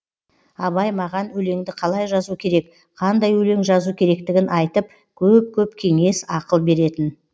абай маған өлеңді қалай жазу керек қандай өлең жазу керектігін айтып көп көп кеңес ақыл беретін